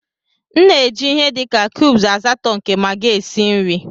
M na-eji ihe dị ka cubes asatọ nke Magi esi nri.